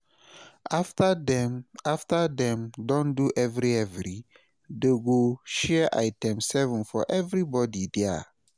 afta dem afta dem don do evri-evri, dem go share "item7" for evribodi dia